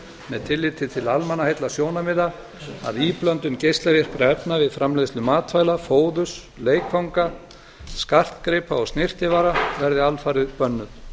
með tilliti til almannaheillasjónarmiða að íblöndun geislavirkra efna við framleiðslu matvæla fóðurs leikfanga skartgripa og snyrtivara verði alfarið bönnuð